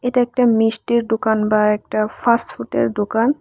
এটা একটা মিষ্টির ডুকান বা একটা ফাস্টফুডের দোকান।